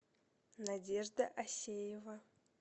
надежда осеева